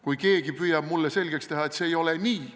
Kui keegi püüab mulle selgeks teha, et see ei ole nii ...